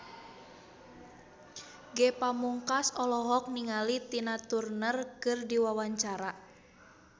Ge Pamungkas olohok ningali Tina Turner keur diwawancara